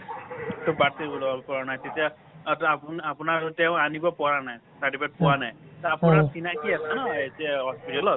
টো birth certificate ওলাবলৈ পৰা নাই তেতিয়া আপোনা আপোনাৰ ৰ টো তেওঁ আনিব পৰা নাই । certificate পোৱা নাই , আপোনাৰ চিনাকি আছে ন এতিয়া hospital ত